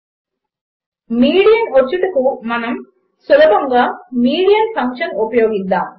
median వచ్చుటకు మనము సులభముగా మీడియన్ ఫంక్షన్ ఉపయోగిద్దాము